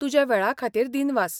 तुज्या वेळा खातीर दिनवास.